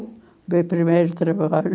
Meu primeiro trabalho?